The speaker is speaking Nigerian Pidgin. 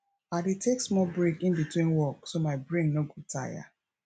i dey take small break in between work so my brain no go tire